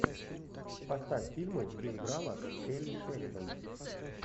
поставь фильмы где играла келли шеридан